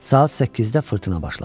Saat səkkizdə fırtına başladı.